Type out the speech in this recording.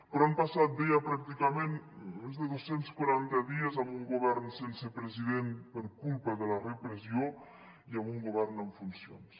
però han passat deia pràcticament més de dos cents i quaranta dies amb un govern sense president per culpa de la repressió i amb un govern en funcions